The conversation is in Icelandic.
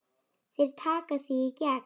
Þeir taka þig í gegn!